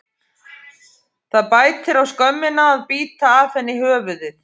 Það bætir á skömmina að bíta af henni höfuðið.